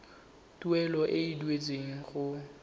tuelo e e duetsweng go